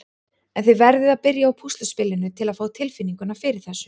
En þið verðið að byrja á púsluspilinu til að fá tilfinninguna fyrir þessu.